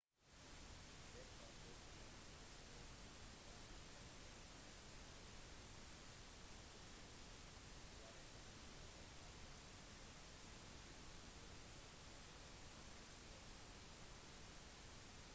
det var også protester i paris sofia i bulgaria vilnius i litauen valetta i malta tallinn i estland edinburgh og glasgow i skottland